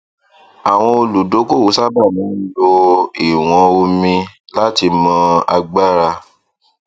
àwọn olùdókòwò sábà máa ń lò ìwọn omi láti mọ agbára